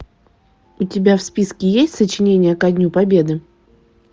у тебя в списке есть сочинение ко дню победы